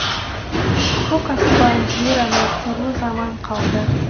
көк аспан жер ана сорлы заман қалды